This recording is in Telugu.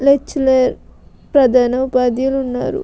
లెక్చరర్ ప్రధాన ఉపాద్యులు ఉన్నారు --